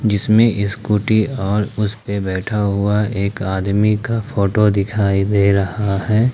जिसमे स्कूटी और उस पे बैठा हुआ एक आदमी का फोटो दिखाई दे रहा है।